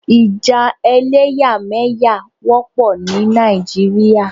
Ìjà ẹlẹ́yàmẹ̀yà wọ́pọ̀ ní Nàìjíríà.